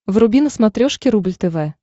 вруби на смотрешке рубль тв